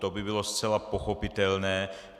To by bylo zcela pochopitelné.